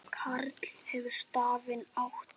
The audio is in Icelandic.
Karl hefur stafinn átt.